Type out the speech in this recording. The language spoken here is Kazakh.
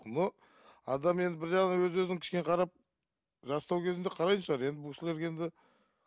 но адам енді бір жағынан өз өзін кішкене қарап жастау кезінде қарайтын шығар енді бұл кісілерге енді